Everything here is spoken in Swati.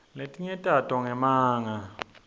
letinye tato ngemanga